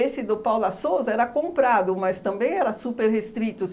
do Paula Souza era comprado, mas também era super restrito.